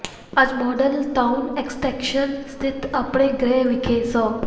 ਅੱਜ model town extension ਸਥਿਤ ਆਪਣੇ ਗ੍ਰਹਿ ਵਿਖੇ ਸ